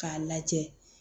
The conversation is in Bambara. K'a lajɛ